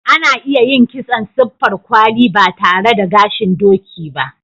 Ana iya yin kitson siffar kwali ba tare da gashin doki ba.